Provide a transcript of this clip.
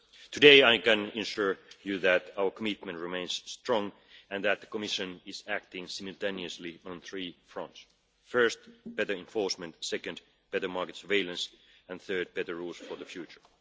Today I can assure you that our commitment remains strong and that the Commission is acting simultaneously on three fronts first, better enforcement, second, better market surveillance, and, third, better rules for the future.